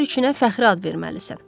Hər üçünə fəxri ad verməlisən.